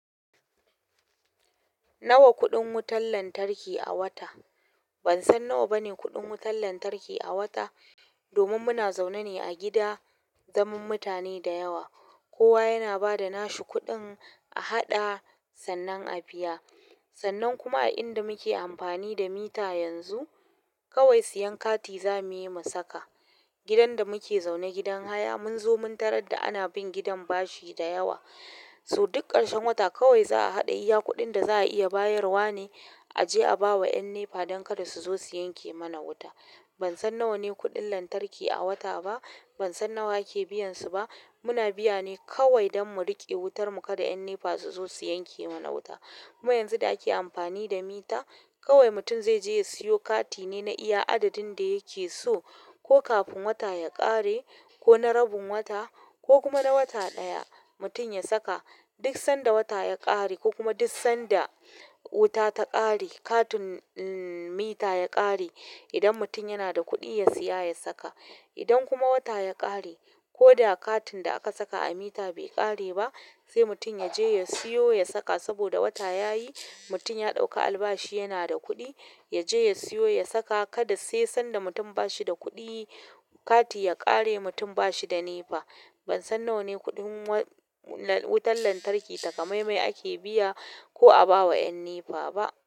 Nawa kuɗin wutan lantarki a wata? Ban san nawa bane kuɗin wutan lantarki a wata, domin muna zaune ne a gida zaman mutane da yawa. Kowa yana ba da nashi kuɗin a haɗa sannan a biya. Sannan kuma a inda muke amfani da mita yanzu, kawai siyan kati zamu yi ma saka. Gidan da muke zaune gidan haya, mun zo mun tarar da ana bin gidan bashi da yawa. So duk ƙarshen wata kawai za a haɗa iya kuɗin da za a iya bayarwa ne a je a bawa ƴan NEPA don kada su zo su yanke mana wuta. Ban san nawa ne kuɗin lantarki a wata ba. Bansan nawa ake biyan su ba muna biya ne kawai don mu riƙe wutar mu kada ƴan NEPA su zo su yanke mana wuta. Mu yanzu da ake amfani da mita, kawai mutum zai je ya siyo kati ne na iya adadin da yake so, ko kafin wata ya ƙare, ko na rabin wata, ko kuma na wata ɗaya mutum ya saka. Duk sanda wata ya ƙare ko kuma duk sanda wuta ta ƙare, katun mita ya ƙare, idan mutum yana da kuɗi ya siya ya saka. Idan kuma wata ya ƙare, ko da katun da aka saka a mita bai ƙare ba, sai mutum ya je ya siyo ya saka saboda wata yayi. Mutum ya ɗauka albashi yana da kuɗi, ya je ya siyo ya saka. Kada sai sanda mutum bashi da kuɗi kati ya ƙare mutum bashi da NEPA. Ban san nawa ne kuɗin wutan lantarki takamamme ake biya ko a ba ma yan NEPA ba.